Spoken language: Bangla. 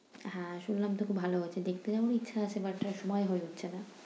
হ্যাঁ শুনলাম তো খুব ভালো হয়েছে। দেখতে যাবো ইচ্ছা আছে but সময় হয়ে উঠছে না।